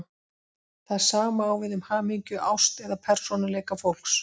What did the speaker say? Það sama á við um hamingju, ást eða persónuleika fólks.